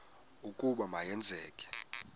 ukuba ma yenzeke